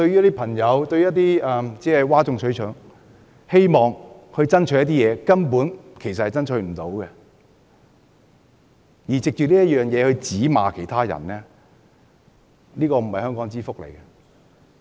那些只懂譁眾取寵的議員，只顧爭取一些無法成功爭取的事情，並藉此指罵其他人，這並不是香港之福。